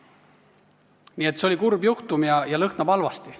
Nii et see on kurb juhtum ja lõhnab halvasti.